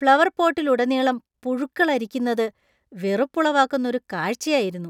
Flower പോട്ടിലുടനീളം പുഴുക്കൾ അരിക്കുന്നത് വെറുപ്പുളവാക്കുന്ന ഒരു കാഴ്ചയായിരുന്നു.